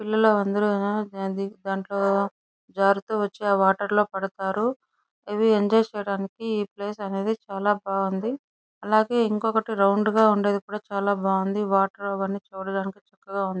పిల్లలు అందరూ దాంట్లో జారుతూ వచ్చి ఆ వాటర్ లో పడతారు ఇది ఎంజాయ్ చేయడానికి ఈ ప్లేస్ అనేవి చాల బాగుంది అలాగే ఇంకొకటి రౌండ్ గ ఉండేది కూడా చాల బాగుంది వాటర్ అవన్నీ చూడడానికి చక్కగా ఉన్నాయ్.